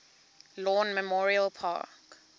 lawn memorial park